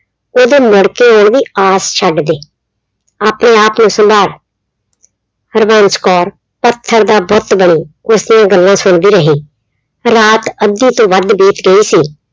ਉਹਦੇ ਮੁੜ ਕੇ ਆਉਣ ਦੀ ਆਸ ਛੱਡ ਦੇ, ਆਪਣੇ ਆਪ ਨੂੰ ਸੰਭਾਲ ਹਰਬੰਸ ਕੌਰ ਪੱਥਰ ਦਾ ਬੁੱਤ ਬਣੀ ਉਸਦੀਆਂ ਗੱਲਾਂ ਸੁਣਦੀ ਰਹੀ, ਰਾਤ ਅੱਧੀ ਤੋਂ ਵੱਧ ਬੀਤ ਗਈ ਸੀ।